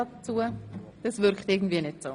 – Das wirkt irgendwie nicht so.